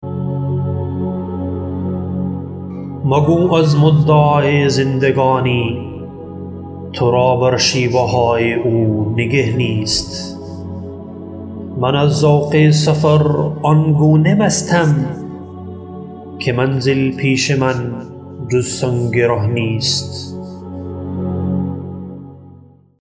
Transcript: مگو از مدعای زندگانی ترا بر شیوه های او نگه نیست من از ذوق سفر آنگونه مستم که منزل پیش من جز سنگ ره نیست